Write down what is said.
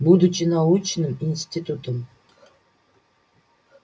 будучи научным институтом